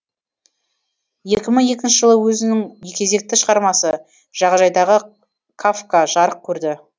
екі мың екінші жылы өзінің кезекті шығармасы жағажайдағы кафка жарық көрді